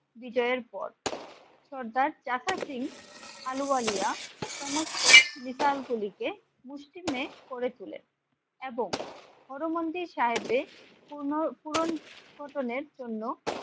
বিজয়ের পর সর্দার চাচা সিং আলুওয়ালিয়া সমস্ত মিসাইলগুলিকে মুষ্টিমেয় করে তোলে এবং হর মন্দির সাহেবের পূর্ণ পূরণ পতনের জন্য